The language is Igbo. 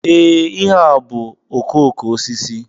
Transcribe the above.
Ee, ihe a bú okooko osisi.